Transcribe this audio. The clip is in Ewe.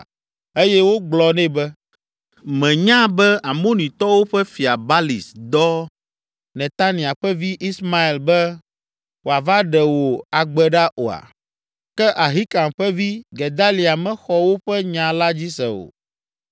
eye wogblɔ nɛ be, “Mènya be Amonitɔwo ƒe fia Balis dɔ Netania ƒe vi, Ismael be wòava ɖe wò agbe ɖa oa?” Ke Ahikam ƒe vi, Gedalia mexɔ woƒe nya la dzi se o.